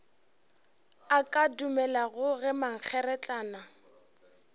a ka dumelago ge mankgeretlana